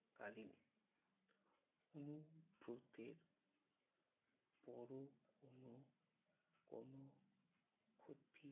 কালীন অনুব্রতের পরম